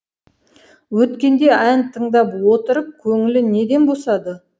өткенде ән тыңдап отырып көңілі неден босады